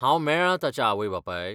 हांव मेळ्ळां ताच्या आवय बापायक?